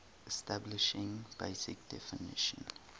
establishing basic definition